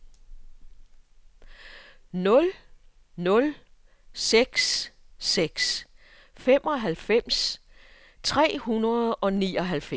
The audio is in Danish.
nul nul seks seks femoghalvfems tre hundrede og nioghalvfems